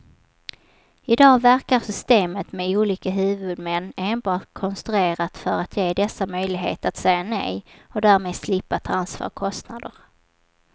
I dag verkar systemet med olika huvudmän enbart konstruerat för att ge dessa möjlighet att säga nej och därmed slippa ta ansvar och kostnader.